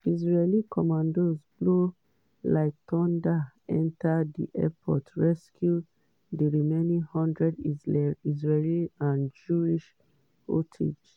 israeli commandos blow like thunder enta di airport rescue di remaining one hundred israeli and jewish hostages.